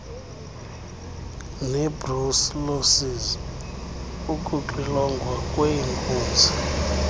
nebrucellosis ukuxilongwa kweenkunzi